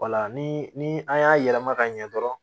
ni ni an y'a yɛlɛma ka ɲɛ dɔrɔn